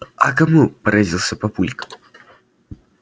а кому поразился папулька